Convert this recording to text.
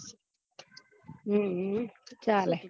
હમ ચાલે